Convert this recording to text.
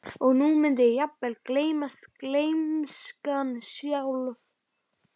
Og nú mundi jafnvel hún gleymast, gleymskan sjálf.